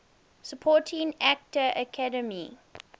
supporting actor academy